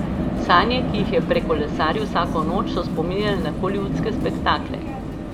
Sanje, ki jih je prekolesaril vsako noč, so spominjale na holivudske spektakle.